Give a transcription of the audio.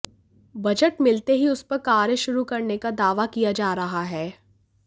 budget मिलते ही उस पर कार्य शुरू करने का दावा किया जा रहा है